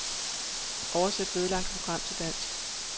Oversæt vedlagte program til dansk.